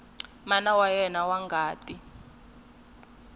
mana wa yena wa ngati